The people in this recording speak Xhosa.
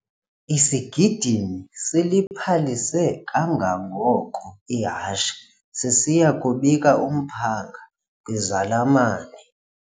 Isigidimi siliphalise kangangoko ihashe sisiya kubika umphanga kwizalamane.